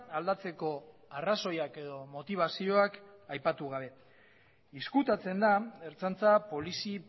aldatzeko arrazoiak edo motibazioak aipatu gabe ezkutatzen da ertzaintza polizi